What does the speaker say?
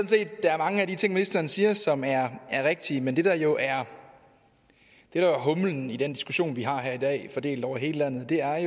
set der er mange af de ting ministeren siger som er rigtige men det der jo er humlen i den diskussion vi har her i dag fordelt over hele landet er